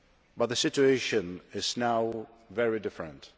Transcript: But the situation is now very different.